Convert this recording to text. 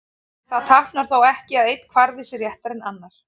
Það táknar þó ekki að einn kvarði sé réttari en annar.